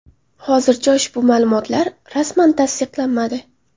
Hozircha ushbu ma’lumotlar rasman tasdiqlanmadi.